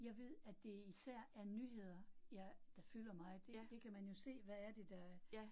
Jeg ved, at det især er nyheder, jeg, der fylder meget, det det kan man jo se, hvad er det der